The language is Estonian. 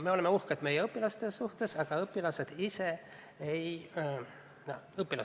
Me oleme uhked meie õpilaste üle, sest õpilastest endist sõltub muidugi